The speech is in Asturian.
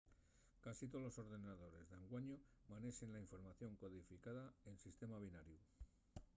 casi tolos ordenadores d'anguaño manexen la información codificada en sistema binariu